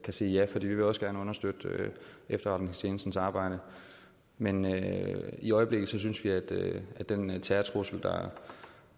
kan sige ja for vi vil også gerne støtte efterretningstjenestens arbejde men i øjeblikket synes vi at den terrortrussel